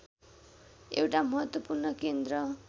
एउटा महत्त्वपूर्ण केन्द्र